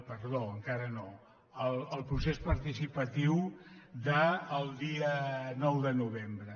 perdó encara no el procés partici·patiu del dia nou de novembre